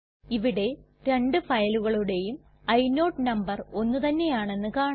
ഇവിടെ രണ്ട് ഫയലുകളുടേയും ഇനോട് നമ്പർ ഒന്ന് തന്നെയാണെന്ന് കാണാം